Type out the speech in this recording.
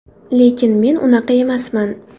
Lekin men unaqa emasman.